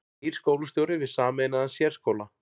Nýr skólastjóri við sameinaðan sérskóla